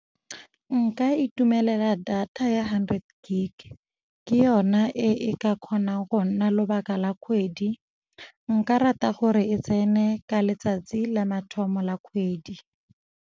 Nka itumelela data ya hundred gig. Ke yona e ka kgonang go nna lobaka la kgwedi. Nka rata gore e tsene ka letsatsi la mathomo la kgwedi.